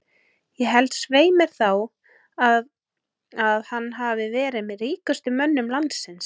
Ég held svei mér þá að að hann hafi verið með ríkustu mönnum landsins.